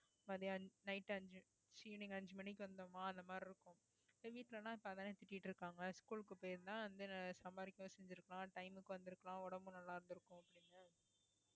மத்தியானம் night அஞ்சு ச்சி evening அஞ்சு மணிக்கு வந்தமா அந்த மாதிரி இருக்கும் இப்ப வீட்டுல எல்லாம் இப்பதானே திட்டிட்டு இருக்காங்க school க்கு போயிருந்தா வந்து சம்பாதிக்கவும் செஞ்சிருக்கலாம் time க்கு வந்திருக்கலாம் உடம்பு நல்லா இருந்திருக்கும் அப்படின்னு